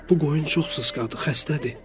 Bu qoyun çox sısğadır, xəstədir.